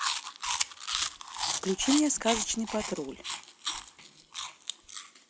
включи мне сказочный патруль